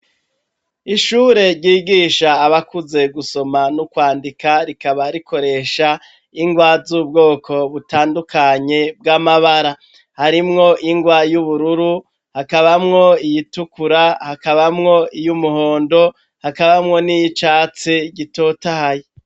Ishure ryigisha abakuze gusoma no kwandika rikaba rikoresha ingwa z'ubwoko butandukanye bw'amabara. Harimwo ingwa y'ubururu ,hakabamwo iyitukura ,hakabamwo y'umuhondo, hakabamwo n'iy'icatsi gitotahaye.